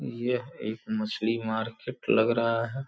यह एक मछली मार्केट लग रहा है।